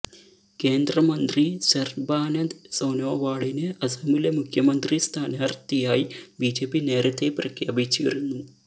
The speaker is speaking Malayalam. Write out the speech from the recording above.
കേന്ദ്രമന്ത്രി സര്ബാനന്ദ് സോനോവാളിനെ അസമിലെ മുഖ്യമന്ത്രി സ്ഥാനാര്ഥിയായി ബിജെപി നേരത്തെ പ്രഖ്യാപിച്ചിരുന്നു